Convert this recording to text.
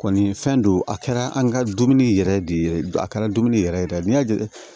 Kɔni fɛn don a kɛra an ka dumuni yɛrɛ de ye a kɛra dumuni yɛrɛ yɛrɛ ye dɛ n'i y'a jate